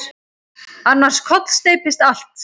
Annars kollsteypist allt.